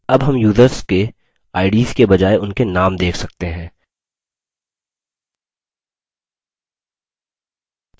अब names users के ids के बजाय उनके now देख सकते हैं